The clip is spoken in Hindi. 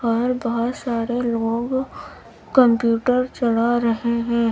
और बहोत सारे लोग कंप्यूटर चला रहे हैं।